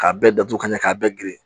K'a bɛɛ datugu ka ɲɛ k'a bɛɛ geren